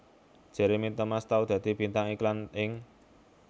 Jeremy Thomas tau dadi bintang iklan ing